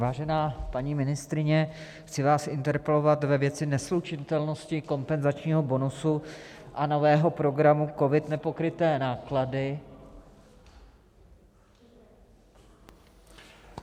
Vážená paní ministryně, chci vás interpelovat ve věci neslučitelnosti kompenzačního bonusu a nového programu COVID - Nepokryté náklady...